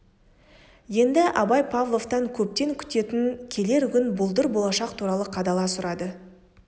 енді абай павловтан көптен күтетін келер күн бұлдыр болашақ туралы қадала сұрады